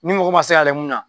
Ni mɔgɔ ma se ka yɛlɛ mun na